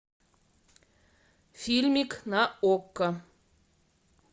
фильмик на окко